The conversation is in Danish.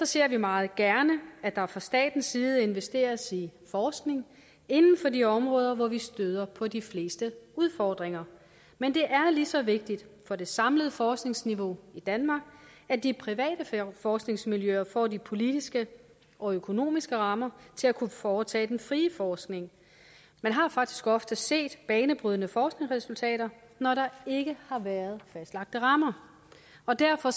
ser vi meget gerne at der fra statens side investeres i forskning inden for de områder hvor vi støder på de fleste udfordringer men det er lige så vigtigt for det samlede forskningsniveau i danmark at de private forskningsmiljøer får de politiske og økonomiske rammer til at kunne foretage den frie forskning man har faktisk ofte set banebrydende forskningsresultater når der ikke har været fastlagte rammer og derfor